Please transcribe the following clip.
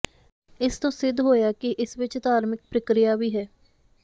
ਇਸ ਤੋਂ ਸਿੱਧ ਹੋਇਆ ਕਿ ਇਸ ਵਿੱਚ ਧਾਰਮਿਕ ਪ੍ਰੀਕ੍ਰਿਆ ਵੀ ਹੈ